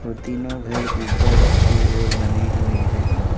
तीनों घर ऊपर की ओर बने हुए हैं।